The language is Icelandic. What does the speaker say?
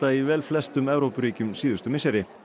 í velflestum Evrópuríkjum síðustu misseri